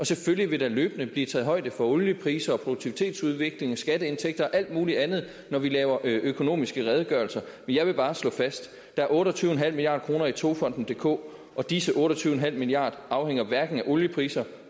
selvfølgelig vil der løbende blive taget højde for oliepriser produktivitetsudvikling skatteindtægter og alt muligt andet når vi laver økonomiske redegørelser men jeg vil bare slå fast der er otte og tyve milliard kroner togfonden dk og disse otte og tyve milliard afhænger hverken af oliepriser